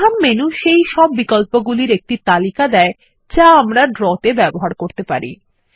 প্রধান মেনু সেই সব বিকল্প গুলির একটি তালিকা দেয় যা আমরা ড্র তে ব্যবহার করতে পারি